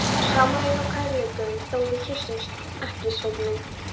Samur er nú kærleikurinn þó við kyssumst ekki, Sveinn minn.